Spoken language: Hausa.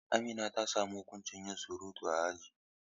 Amina ta samu huƙuncin yin surutu a aji.